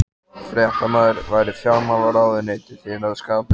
Fréttamaður: Væri fjármálaráðuneytið þér að skapi?